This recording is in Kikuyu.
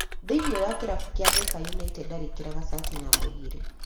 Thĩinie wa kĩrabu kĩa Thĩka United arĩkĩraga cati namba igĩrĩ